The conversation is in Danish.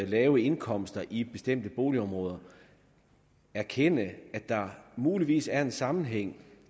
lave indkomster i bestemte boligområder erkende at der muligvis er en sammenhæng